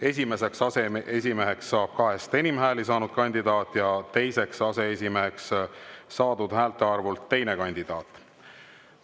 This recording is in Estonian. Esimeseks aseesimeheks saab kahest enim hääli saanud kandidaat ja teiseks aseesimeheks saab saadud häälte arvult teine kandidaat.